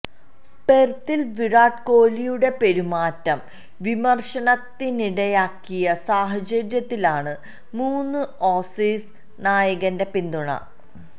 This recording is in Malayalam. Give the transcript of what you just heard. പെര്ത്തില് വിരാട് കോഹ്ലിയുടെ പെരുമാറ്റം വിമര്ശനത്തിനിടയാക്കിയ സാഹചര്യത്തിലാണ് മുന് ഓസീസ് നായകന്റെ പിന്തുണ